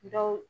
Dɔw